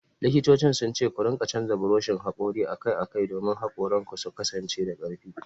Likitocin sun ce ku rika canza buroshin hakori akai-akai domin hakoranku su kasance da karfi.